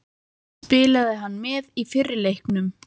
Spilaði hann með í fyrri leiknum?